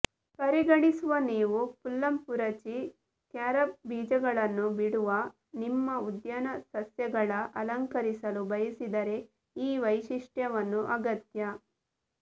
ಪರಿಗಣಿಸುವ ನೀವು ಪುಲ್ಲಂಪುರಚಿ ಕ್ಯಾರಬ್ ಬೀಜಗಳನ್ನು ಬಿಡುವ ನಿಮ್ಮ ಉದ್ಯಾನ ಸಸ್ಯಗಳ ಅಲಂಕರಿಸಲು ಬಯಸಿದರೆ ಈ ವೈಶಿಷ್ಟ್ಯವನ್ನು ಅಗತ್ಯ